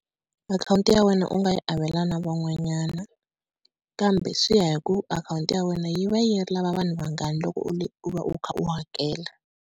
Akhawunti ya wena u nga yi avela na van'wanyana, kambe swi ya hi ku akhawunti ya wena yi va yi lava vanhu vangani loko u va u kha u hakela.